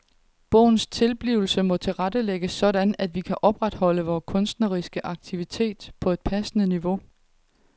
Bogens tilblivelse må tilrettelægges sådan at vi kan opretholde vores kunstneriske aktivitet på et passende niveau.